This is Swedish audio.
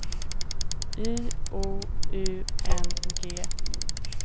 Y O U N G